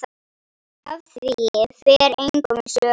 Af því fer engum sögum.